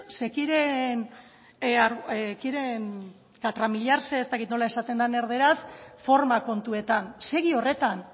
se quieren catramillar ez dakit nola esaten den erdaraz forma kontuetan segi horretan